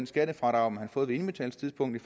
skattefradrag man har fået ved indbetalingstidspunktet